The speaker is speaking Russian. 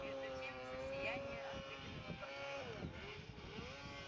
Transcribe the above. между тем всё сияние от выпитого портвейна